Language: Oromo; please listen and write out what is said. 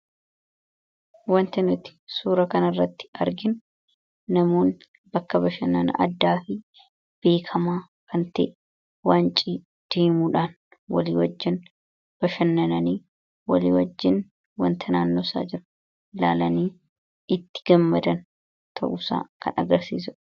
Wanti nuti suura kana irratti arginu namoonni bakka bashannana addaa fi beekkamaa kan ta'e, wancii deemuudhaan walii wajjiin bashannanaa jiran agarsiisudha.